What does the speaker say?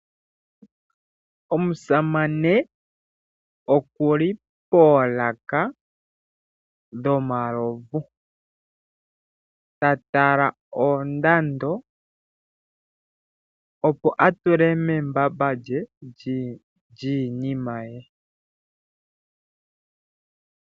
Omusamane oku li poolaka dhomalovu. Ta tala oondando, opo a tule membamba lye lyiinima ye.